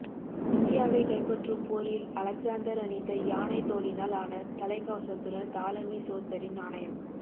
இந்தியாவைக் கைப்பற்றும் போரில் அலெக்சாந்தர் அணிந்த யாணைத் தோலினால் ஆன தலைக்கவசத்துடன் தாலமி சோத்தரின் நாணயம்